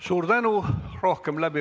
Suur tänu!